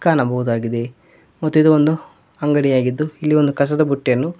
ಕಾಣಬಹುದಾಗಿದೆ ಮತ್ತು ಇದು ಒಂದು ಅಂಗಡಿಯಾಗಿದ್ದು ಇಲ್ಲಿ ಒಂದು ಕಸದ ಬುಟ್ಟಿಯನ್ನು--